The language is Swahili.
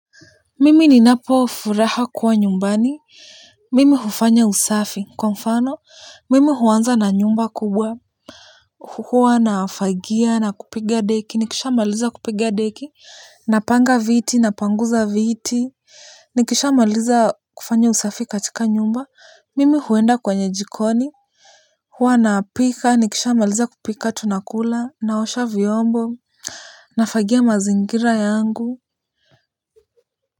Mimi ninapo furaha kuwa nyumbani, mimi hufanya usafi, kwa mfano, mimi huanza na nyumba kubwa, huwa na fagia na kupiga deki, nikishamaliza kupiga deki. Napanga viti, napanguza viti, nikishamaliza kufanya usafi katika nyumba, mimi huenda kwenye jikoni. Huwa napika, nikisha maliza kupika tunakula, naosha vyombo, nafagia mazingira yangu.